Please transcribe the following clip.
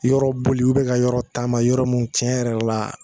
Yɔrɔ boli u bɛ ka yɔrɔ taama yɔrɔ mun tiɲɛ yɛrɛ la